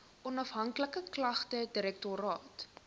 onafhanklike klagtedirektoraat